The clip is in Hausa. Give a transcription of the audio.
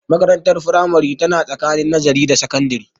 Makarantar firamare tana tsakani nazare da sakandare